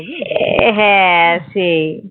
আহ হ্যাঁ সেই